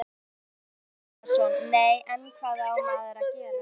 Stefán Bragi Bjarnason: Nei, en hvað á maður að gera?